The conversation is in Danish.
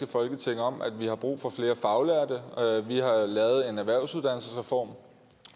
folketing om at vi har brug for flere faglærte vi har lavet en erhvervsuddannelsesreform